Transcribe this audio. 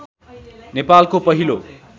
नेपालको पहिलो